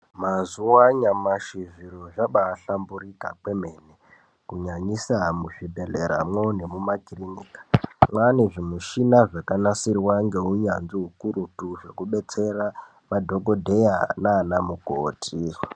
Mazuwa anyamashi zviro zvabaahlamburika kwemene, kunyanyisa muzvibhedhleramwo nemumakirinika. Mwaane zvimishina zvakanasirwa ngeunyanzvi ukurutu, zvekubetsera madhokodheya naanamukoti .